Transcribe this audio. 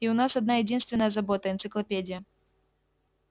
и у нас одна-единственная забота энциклопедия